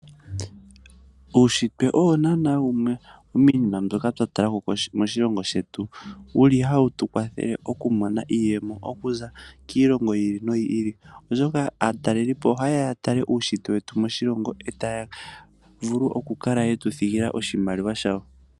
Uunshitwe owo naana wumwe womiinima mbyoka twa talako moshilongo shetu yili hayi tu kwathele oku mona iiyemo okuza kiilongo yi ili noyi ili, oshoka aatalelipo ohaye ya ya tale uunshitwe wetu moshilongo, etaya vulu oku kala yetu thigila oshimaliwa shawo.